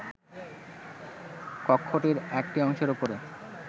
কক্ষটির একটি অংশের উপরে